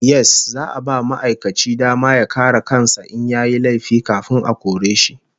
Yes, za'a ba ma'aikaci dama ya kare kan sa in yayi laifi kafin a kore shi